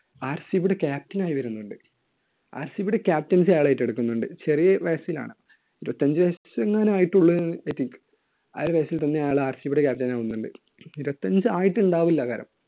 RCB യുടെ captain ആയി വരുന്നുണ്ട്. RCB യുടെ captaincy അയാൾ ഏറ്റെടുക്കുന്നുണ്ട്. ചെറിയ വയസിലാണ്. ഇരുപത്തഞ്ച് വയസെങ്ങാനുമേ ആയിട്ടുള്ളൂ. ആ വയസിൽ തന്നെ അയാൾ RCB യുടെ captain ആകുന്നുണ്ട്. ഇരുപത്തഞ്ച് ആയിട്ടുണ്ടാവില്ല ആകാലം.